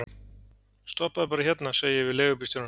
Stoppaðu bara hérna, segi ég við leigubílstjórann.